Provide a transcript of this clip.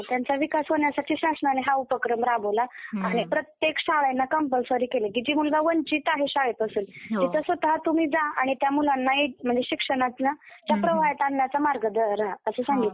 हा, त्यांचा विकास होण्यासाठी शासनाने हा उपक्रम राबवला आहे. प्रत्येक शाळांना कंपल्सरी केली की जी मुलगा वंचित आहे शाळेपासून तिथं स्वतः तुम्ही जा आणि त्या मुलांना इथनं म्हणजे शिक्षणातनं त्या प्रवाहात आणण्याचा मार्ग द्या असं सांगितलं.